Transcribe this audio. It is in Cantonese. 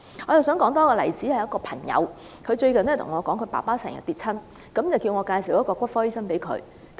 另外一個例子是最近有一位朋友告訴我，他的父親經常跌倒，要我介紹一位骨科醫生給他。